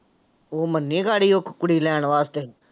ਉਹ ਮੰਨੇ ਉਹ ਕੁੜੀ ਲੈਣ ਵਾਸਤੇ।